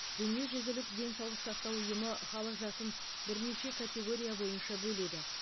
дүниежүзілік денсаулық сақтау ұйымы халық жасын бірнеше категория бойынша бөледі